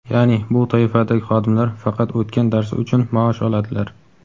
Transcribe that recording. Yaʼni bu toifadagi xodimlar faqat o‘tgan darsi uchun maosh oladilar.